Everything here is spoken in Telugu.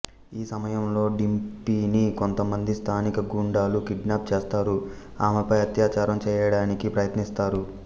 ఈ సమయంలో డింపీని కొంతమంది స్థానిక గూండాలు కిడ్నాప్ చేస్తారు ఆమెపై అత్యాచారం చేయడానికి ప్రయత్నిస్తారు